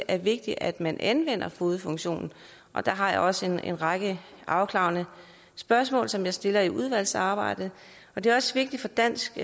er vigtigt at man anvender fogedfunktionen og der har jeg også en række afklarende spørgsmål som jeg vil stille i udvalgsarbejdet det er også vigtigt for dansk